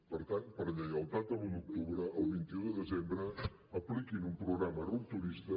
per tant per lleialtat a l’un d’octubre al vint un de desembre apliquin un programa rupturista